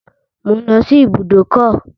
Mò ń lọ sí ibùdókọ̀.